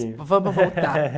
vamos voltar.